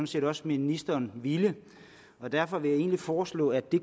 set også ministeren ville og derfor vil jeg egentlig foreslå at vi